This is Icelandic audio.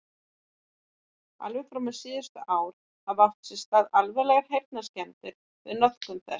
Alveg fram á síðustu ár hafa átt sér stað alvarlegar heyrnarskemmdir við notkun þess.